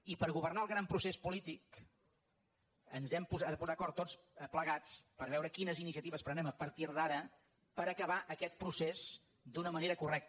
i per governar el gran procés polític ens hem de posar d’acord tots plegats per veure quines iniciatives prenem a partir d’ara per acabar aquest procés d’una manera correcta